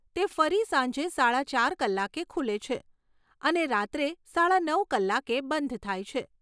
તે ફરી સાંજે સાડા ચાર કલાકે ખુલે છે અને રાત્રે સાડા નવ કલાકે બંધ થાય છે.